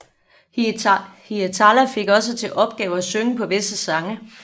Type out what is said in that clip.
Hietala fik også til opgave at synge på visse sange